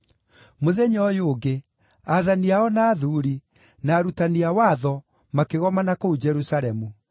Mũthenya ũyũ ũngĩ, aathani ao na athuuri, na arutani a watho makĩgomana kũu Jerusalemu.